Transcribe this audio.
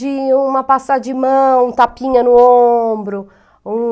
De uma passar de mão, um tapinha no ombro, um...